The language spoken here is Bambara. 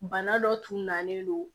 Bana dɔ tun nalen don